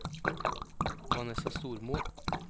Vanessa Stormo